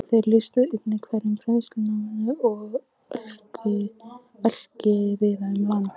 Þeir lýstu einnig hverum, brennisteinsnámum og ölkeldum víða um land.